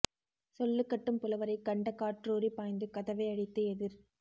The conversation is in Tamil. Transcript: சொல்லுக் கட்டும் புலவரைக் கண்டக் காற்றூறிப் பாய்ந்து கதவை அடைத்து எதிர்